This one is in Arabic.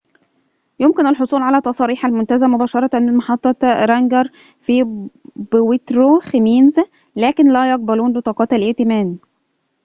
يمكن الحصول على تصاريح المنتزه مباشرة من محطة رانجر في بويترو خمينز لكن لا يقبلون بطاقات الائتمان